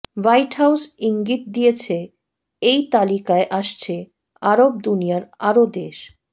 white House ইঙ্গিত দিয়েছে এই তালিকায় আসছে আরব দুনিয়ার আরও দেশ